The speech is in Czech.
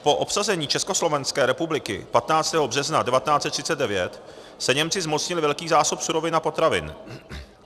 Po obsazení Československé republiky 15. března 1939 se Němci zmocnili velkých zásob surovin a potravin.